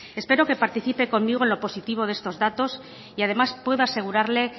espero que participe conmigo en lo positivo de estos datos y además puedo asegurarle